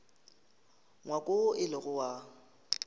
ngwako woo e lego wa